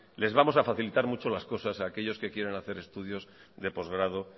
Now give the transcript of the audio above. les vamos a facilitar mucho las cosas a aquellos que quieran hacer estudios de postgrado